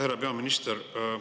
Härra peaminister!